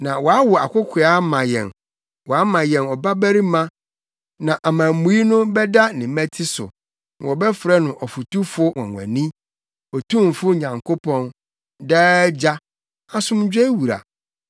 Na wɔawo akokoaa ama yɛn, wɔama yɛn ɔbabarima, na amammui no bɛda ne mmati so. Na wɔbɛfrɛ no Ɔfotufo Nwonwani, Otumfo Nyankopɔn, Daa Agya, Asomdwoe Wura.